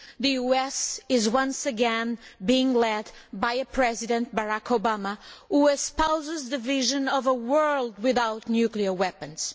The US is once again being led by a President, Barack Obama, who espouses the vision of a world without nuclear weapons.